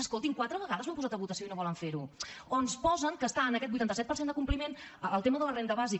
escoltin quatre vegades ho han posat a votació i no volen fer ho o ens posen que està en aquest vuitanta set per cent de compliment el tema de la renda bàsica